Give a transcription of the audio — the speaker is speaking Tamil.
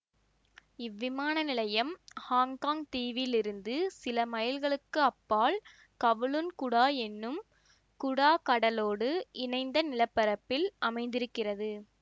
இவ்விமான நிலையம் ஹாங்காங் தீவில் இருந்து சில மைல்களுக்கு அப்பால் கவுலூன் குடா எனும் குடா கடலோடு இணைந்த நிலப்பரப்பில் அமைந்திருந்தது